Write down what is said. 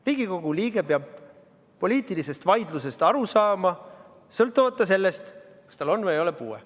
Riigikogu liige peab poliitilisest vaidlusest aru saama, sõltumata sellest, kas tal on või ei ole puuet.